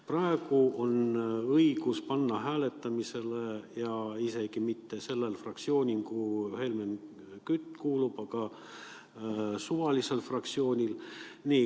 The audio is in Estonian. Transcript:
Praegu on õigus panna see ettepanek hääletamisele, ja mitte üksnes sellel fraktsioonil, kuhu Helmen Kütt kuulub, vaid suvalisel fraktsioonil.